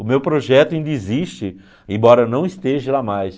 O meu projeto ainda existe, embora não esteja lá mais.